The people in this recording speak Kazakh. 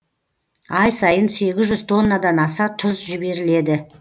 ай сайын сегіз жүз тоннадан аса тұз жіберіледі